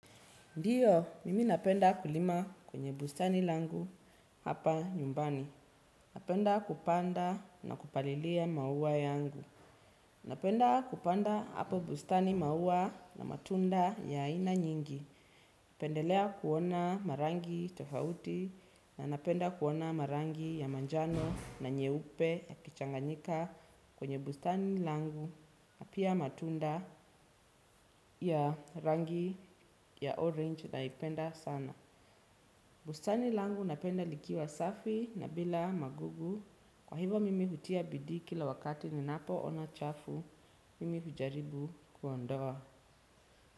Ndio, mimi napenda kulima kwenye bustani langu hapa nyumbani. Napenda kupanda na kupalilia maua yangu. Napenda kupanda hapa bustani maua na matunda ya aina nyingi. Napendelea kuona marangi tofauti na napenda kuona marangi ya manjano na nyeupe yakichanganyika kwenye bustani langu na pia matunda ya rangi ya orange naipenda sana. Bustani langu napenda likiwa safi na bila magugu, kwa hivo mimi hutia bidii kila wakati ninapo ona chafu, mimi hujaribu kuondoa.